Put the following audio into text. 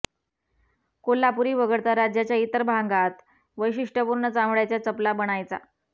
कोल्हापुरी वगळता राज्याच्या इतर भागांत वैशिष्टय़पूर्ण चामडय़ाच्या चपला बनायचा